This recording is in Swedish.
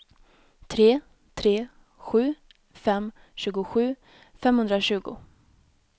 tre tre sju fem tjugosju femhundratjugo